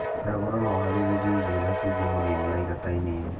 Cagũra na ũharĩrĩe irio na cumbĩ mũnini na igata inini